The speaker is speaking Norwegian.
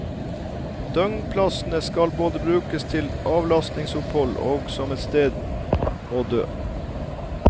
Døgnplassene skal både brukes til avlastningsopphold og som et sted å dø.